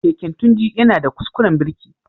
Keken Tunji yana da kuskuren birki.